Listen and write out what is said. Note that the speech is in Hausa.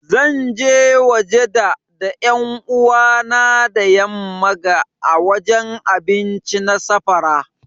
Zan je waje da da yan'uwa na da yamman ga ã wajen abinci na safara.